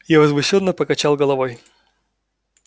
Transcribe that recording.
я возмущённо покачал головой